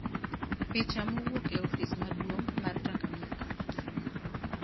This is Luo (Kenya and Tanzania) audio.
Picha mowuok e ofis maduong ' mar Tanganyika.